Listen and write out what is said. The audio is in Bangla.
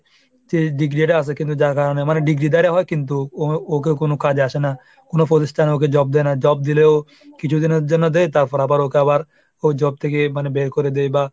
সে degree টা আসে কিন্তু যার কারণে মানে, degree র দ্বারা হয় কিন্তু ওই ওকে কোন কাজে আসে না। কোন প্রতিষ্ঠানে ওকে job দেয় না। job দিলেও কিছু দিনের জন্য দেয়, তারপর আবার ওকে আবার ওই job থেকে মানে বের করে দেয় বা